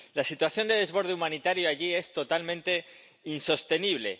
La situación de desborde humanitario allí es totalmente insostenible.